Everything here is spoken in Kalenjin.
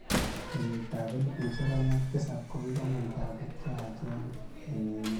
kenyitab elbushek aeng ak tisap kogimong chabuk cheyachen eng emet